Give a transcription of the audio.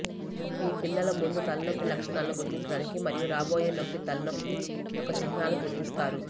మీ పిల్లలు ముందు తలనొప్పి లక్షణాలను గుర్తించడానికి మరియు రాబోయే నొప్పి తలనొప్పి యొక్క చిహ్నాలను గుర్తిస్తారు